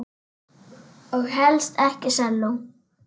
Og helst ekki selló.